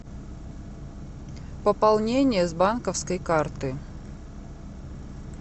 пополнение с банковской карты